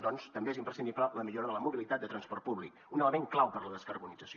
doncs també és imprescindible la millora de la mobilitat de transport públic un element clau per a la descarbonització